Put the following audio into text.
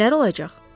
Kimlər olacaq?